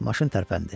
Maşın tərpəndi.